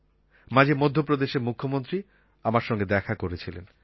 মাঝে মধ্যপ্রদেশের মুখ্যমন্ত্রী আমার সঙ্গে দেখা করেছিলেন